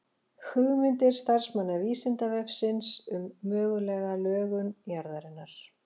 Hugmyndir starfsmanna Vísindavefsins um mögulega lögun jarðarinnar.